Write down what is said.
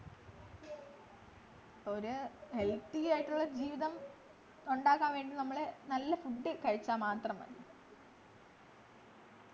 ഒരു healthy ആയിട്ടുള്ള ജീവിതം ഉണ്ടക്കാൻ വേണ്ടി നമ്മള് നല്ല food കഴിച്ച മാത്രം മതി